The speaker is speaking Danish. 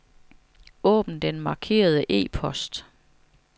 Åbn den markerede e-post.